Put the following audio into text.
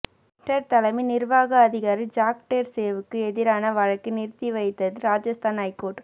Twitter தலைமை நிர்வாக அதிகாரி ஜாக் டோர்சேவுக்கு எதிரான வழக்கை நிறுத்திவைத்தது ராஜஸ்தான் ஐகோர்ட்